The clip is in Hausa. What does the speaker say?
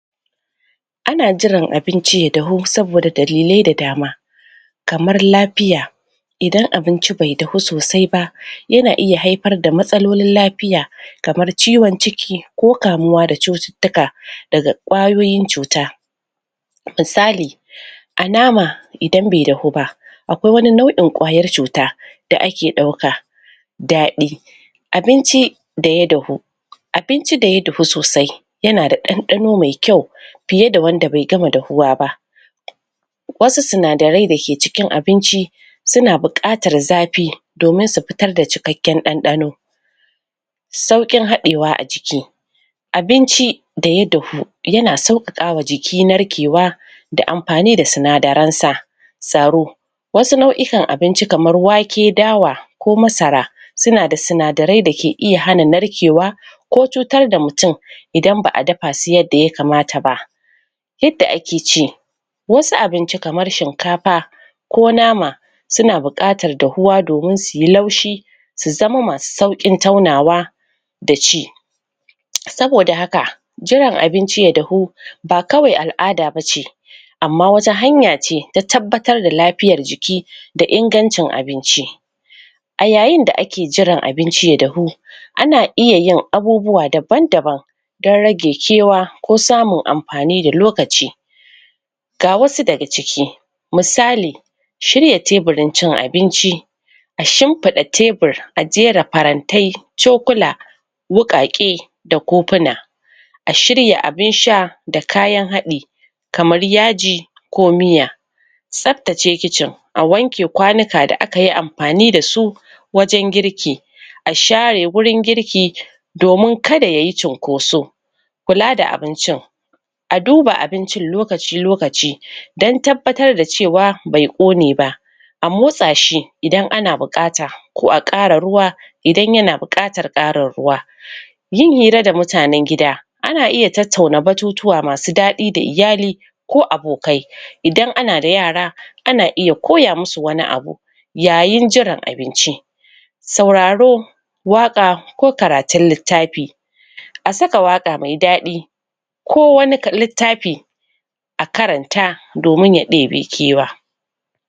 Ana jiran abinci ya dahu, saboda dalillai da dama kamar lafiya idan abinci bai dahu sosai ba yana iya haifar da matsalolin lafiya kamar ciwon ciki, ko kamuwa da cuttutuka daga ƙwayoyin cuta misali a nama idan be dahuba akwai wani nau'in ƙwayan cuta da ake ɗauka daɗi abinci daya dahu abinci daya dahu sasai yana da ɗandano me kyau fiye da wanda be gama dahuwa ba wasu sinadirai dake cikin abinci suna buƙatar zafi domin su fitar da cikaken ɗanɗano sauƙin haɗewa a jikin abinci daya dahu, yana sauƙakawa jiki narkewa da amfani da sinadaransa tsaro wasu nau'ikan abinci kamar wake, dawa ko masara suna da sinadarai da ke iya hana narkewa ko cutar da mutum idan ba'a dafasu yanda yakamata ba yanda ake ce wasu abinci kamar shinkafa ko nama suna buƙatar dahuwa domin suyi laushi su zama masu sauƙin taunawa da ci saboda haka jiran abinci ya dahu, ba kawai al'ada bace amma wata hanyace ta tabatar da lafiyar jiki da ingancin abinci a yayin da ake jiran abinci ya dahu, ana iya yin abubuwa daban-daban dan rage kewa ko samun amfani da lokaci ga wasu daga ciki misali shirya teburin cin abinci a shimfida tebur, a jera farantai, cokula wuƙake da kofuna a shirya abin sha da kayan haɗi kamar yaji ko miya sabttace kicin, a wanke kwanuka da akayi amfani da su wajan girki a share wurin girki domin kada yayi cunkoso kula da abincin a duba abincin lokaci-lokaci da tabbatar da cewa be ƙonne ba a motsa shii idan ana buƙata, ko a ƙara ruwa idan yana buƙatar ƙarar ruwa yin hira da mutanen gida ana iya tattauna batutuwa masu daɗi da iyali ko abokai idan ana da yara ana iya koya musu wani abu yayin jiran abincin sauraro waƙa ko karatun littafi a saka waƙa me daɗi ko wani littafi a karanta domin ya ɗebi kewa.